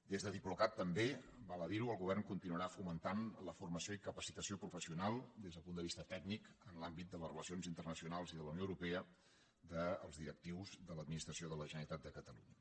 des de diplocat també val a dir ho el govern continuarà fomentant la formació i capacitació professional des del punt de vista tècnic en l’àmbit de les relacions internacionals i de la unió europea dels directius de l’administració de la generalitat de catalunya